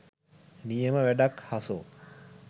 නියම වැඩක් හසෝ.